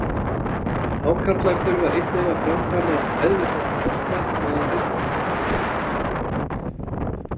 Hákarlar þurfa einnig að framkvæma meðvitaðan verknað meðan þeir sofa.